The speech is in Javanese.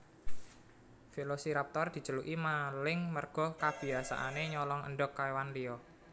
Velociraptor diceluki maling merga kebiasaanè nyolong endhog kèwan liya